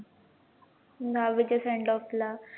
दहावीच्या sendoff ला